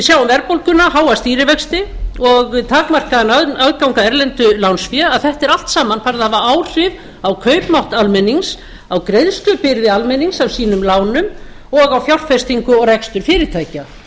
sjáum verðbólguna háa stýrivexti og takmarkaðan aðgang að erlendu lánsfé að þetta er allt saman farið að hafa áhrif á kaupmátt almennings á greiðslubyrði almennings af eigum lánum og á fjárfestingu og rekstur fyrirtækja